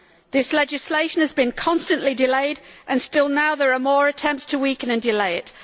This legislation has been constantly delayed and still, now, there are more attempts to weaken and delay it.